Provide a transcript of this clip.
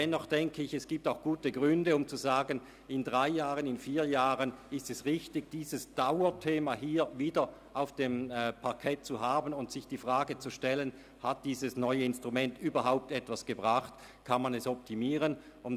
Dennoch sehe ich auch gute Gründe dafür, zu sagen, es sei richtig in drei oder vier Jahren dieses Dauerthema wieder auf dem Parkett zu haben und sich zu fragen, ob dieses neue Instrument überhaupt etwas gebracht hat oder ob es optimiert werden kann.